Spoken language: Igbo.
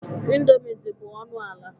Indọmii dị bụ ọnụ ala.